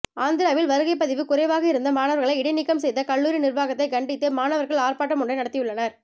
ஆந்திராவில் வருகைப்பதிவு குறைவாக இருந்த மாணவர்களை இடைநீக்கம் செய்த கல்லூரி நிர்வாகத்தை கண்டித்து மாணவர்கள் ஆர்ப்பாட்டம் ஒன்றை நடத்தியுள்ளனர்